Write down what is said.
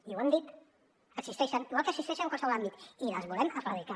i ho hem dit existeixen igual que existeixen en qualsevol àmbit i les volem erradicar